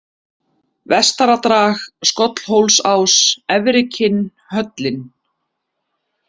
Vestaradrag, Skollhólsás, Efri-Kinn, Höllin